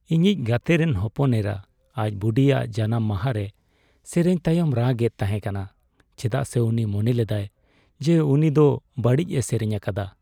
ᱤᱧᱤᱧ ᱜᱟᱛᱮ ᱨᱮᱱ ᱦᱚᱯᱚᱱ ᱮᱨᱟ ᱟᱡ ᱵᱩᱰᱤᱭᱟᱜ ᱡᱟᱱᱟᱢ ᱢᱟᱦᱟ ᱨᱮ ᱥᱮᱨᱮᱧ ᱛᱟᱭᱚᱢ ᱨᱟᱜᱼᱮᱫ ᱛᱟᱦᱮᱸ ᱠᱟᱱᱟ ᱪᱮᱫᱟᱜ ᱥᱮ ᱩᱱᱤ ᱢᱚᱱᱮ ᱞᱮᱫᱟᱭ ᱡᱮ ᱩᱱᱤ ᱫᱚ ᱵᱟᱹᱲᱤᱡ ᱮ ᱥᱮᱨᱮᱧ ᱟᱠᱟᱫᱟ ᱾